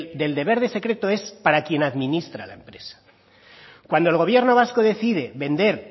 del deber de secreto es para quien administra la empresa cuando el gobierno vasco decide vender